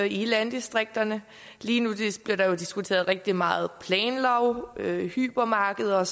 i landdistrikterne lige nu bliver der diskuteret rigtig meget planlov hypermarkeder